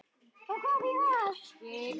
Og hvað þýðir það?